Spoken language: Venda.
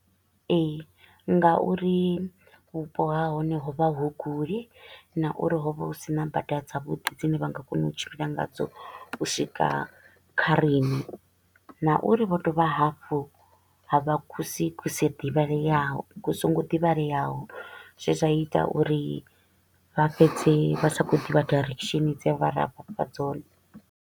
Ee, nga uri vhupo ha hone ho vha hu kule na uri ho vha hu sina bada dza vhuḓi dzine vha nga kona u tshimbila ngadzo u swika kha riṋe, na u uri vho dovha hafhu ha vha kusi ku si ḓivhaleaho ku so ngo ḓivhaleaho zwe zwa ita uri vha fhedze vha sa kho u ḓivha direction dze ra vha fha dzone.